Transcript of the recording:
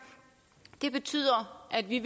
det betyder at vi